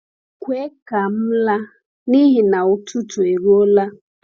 Kwe ka m laa, n’ihi n’ihi na ụtụtụ eruola.